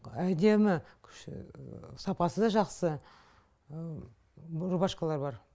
әдемі сапасы да жақсы рубашкалар бар